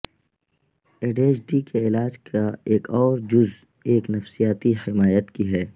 ADHD کے علاج کا ایک اور جزو ایک نفسیاتی حمایت کی ہے